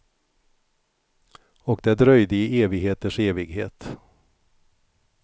Och det dröjde i evigheters evighet.